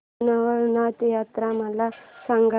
श्री रवळनाथ यात्रा मला सांग